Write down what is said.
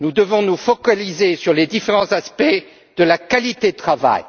Nous devons nous focaliser sur les différents aspects de la qualité du travail.